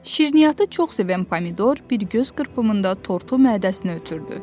Şirniyyatı çox sevən Pomidor bir göz qırpımında tortu mədəsinə ötürdü.